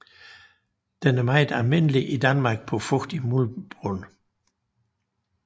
Den er meget almindelig i Danmark på fugtig muldbund